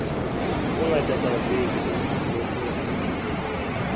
ungatatazeli nonkosi uzobona